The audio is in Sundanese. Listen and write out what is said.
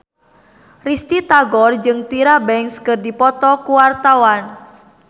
Risty Tagor jeung Tyra Banks keur dipoto ku wartawan